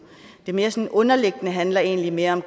det mere sådan underliggende handler egentlig mere om